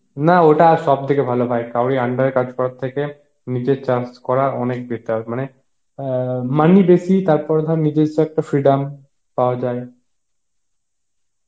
না ওটা সব থেকে ভালো ভাই কাউরি under এ কাজ করার থেকে নিজে চাস করা অনেক better মানে অ্যাঁ money বেশি, তারপর ধর নিজেস্য একটা freedom পাওয়া যায়